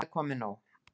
Það er komið nóg.